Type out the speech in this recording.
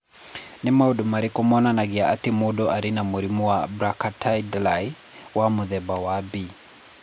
Nĩ maũndũ marĩkũ monanagia atĩ mũndũ arĩ na mũrimũ wa Brachydactyly wa mũthemba wa B?